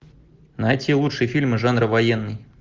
найти лучшие фильмы жанра военный